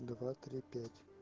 два три пять